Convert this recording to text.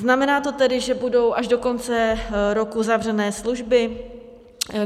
Znamená to tedy, že budou až do konce roku zavřené služby?